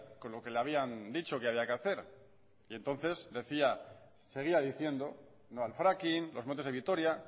con lo que le habían dicho que había que hacer y entonces seguía diciendo no al fracking los montes de vitoria